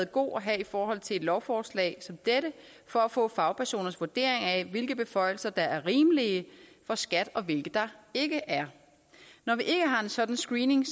god at have i forhold til et lovforslag som dette for at få fagpersoners vurdering af hvilke beføjelser der er rimelige for skat og hvilke der ikke er når vi ikke har en sådan screening